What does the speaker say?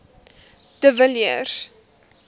de villiers